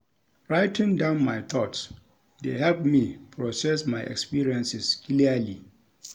Writing down my thoughts dey help me process my experiences clearly.